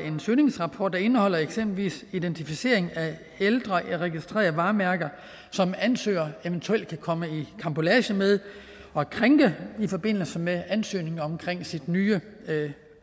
en søgningsrapport der indeholder eksempelvis identificering af ældre registrerede varemærker som ansøgeren eventuelt kan komme i karambolage med og krænke i forbindelse med ansøgningen om sit nye